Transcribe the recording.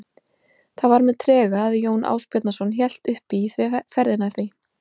Það var með trega að Jón Ásbjarnarson hélt upp í ferðina því